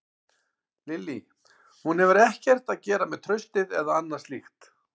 Lillý: Hún hefur ekkert að gera með traustið eða annað slíkt?